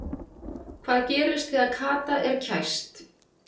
Hvað gerist þegar skata er kæst?